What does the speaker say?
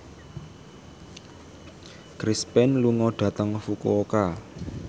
Chris Pane lunga dhateng Fukuoka